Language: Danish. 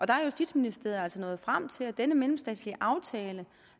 der er justitsministeriet altså nået frem til at denne mellemstatslig aftale